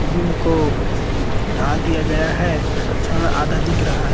और एक बहुत बड़ी टंकी भी देख रहे है जिसमें पानी भरा जाता है।